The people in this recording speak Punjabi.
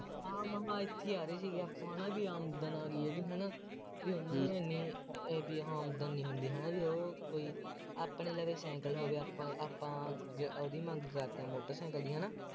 ਹਾਂ ਇੱਥੇ ਹੀ ਆ ਰਹੇ ਸੀ ਆਪਾਂ ਹੈ ਨਾ ਬਈ ਆਮਦਨ ਆ ਬਈ ਇਹਦੀ ਹੈ ਨਾ, ਬਈ ਉਹਨਾ ਦੀ ਐਨੀ ਆਮਦਨ ਨਹੀਂ ਹੁੰਦੀ, ਹੈ ਨਾ ਬਈ ਉਹ ਕੋਈ ਆਪਣੇ ਲਵੇ ਸਾਈਕਲ ਹੋ ਗਿਆ ਆਪਾਂ ਆਪਾਂ, ਉਹਦੀ ਮੰਗ ਕਰਦੇ ਹਾਂ ਮੋਟਰਸਾਈਕਲ ਦੀ ਹੈ ਨਾ